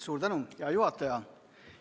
Suur tänu, hea juhataja!